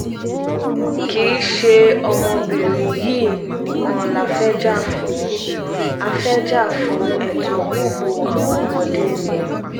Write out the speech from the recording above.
kì í ṣe ọmọbìnrin yìí nìkan la fẹ́ẹ́ jà fún a fẹ́ẹ́ jà fún ẹ̀tọ́ gbogbo àwọn ọmọdé ni